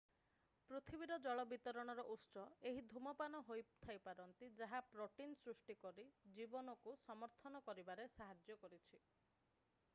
ପୃଥିବୀର ଜଳ ବିତରଣର ଉତ୍ସ ଏହି ଧୂମପାନ ହୋଇଥାଇ ପାରନ୍ତି ଯାହା ପ୍ରୋଟିନ ସୃଷ୍ଟି କରି ଜୀବନକୁ ସମର୍ଥନ କରିବାରେ ସାହାଯ୍ୟ କରିଛି